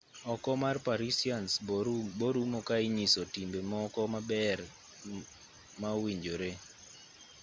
oko mar parisians borumo ka inyiso timbe moko maber ma ma owinjore